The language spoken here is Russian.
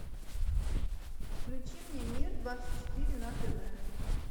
включи мне мир двадцать четыре на тв